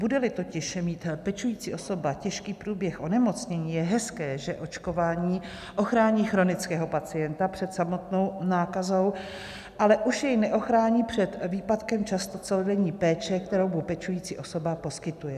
Bude-li totiž mít pečující osoba těžký průběh onemocnění, je hezké, že očkování ochrání chronického pacienta před samotnou nákazou, ale už jej neochrání před výpadkem často celodenní péče, kterou mu pečující osoba poskytuje.